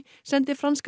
sendi franska